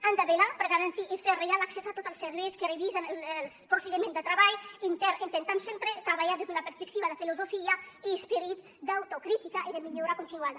han de vetllar per garantir i fer arribar l’accés a tots els serveis que revisen els procediments de treball intern intentant sempre treballar sempre des d’una perspectiva de filosofia i esperit d’autocrítica i de millora continuada